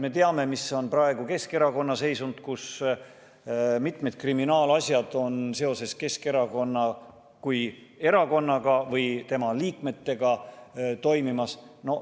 Me teame, missugune on praegu Keskerakonna seisund – mitu kriminaalasja on seoses Keskerakonna kui erakonnaga või tema liikmetega toimimas.